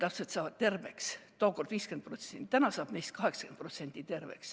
Tookord sai terveks 50%, täna on neid 80%.